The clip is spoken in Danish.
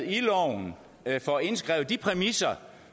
i loven får indskrevet de præmisser